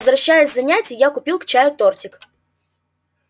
возвращаясь с занятий я купил к чаю тортик